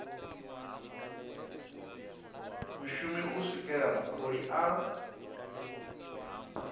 mushumi u swikela mutholi a